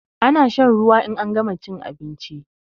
Ana shan ruwa in an gama chin abinchi